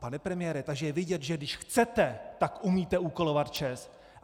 Pane premiére, takže je vidět, že když chcete, tak umíte úkolovat ČEZ!